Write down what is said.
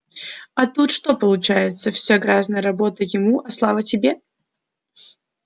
а тут что получается вся грязная работа ему а слава тебе